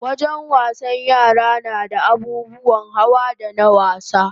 Wajen wasan yara nada abubuwan hawa na wasa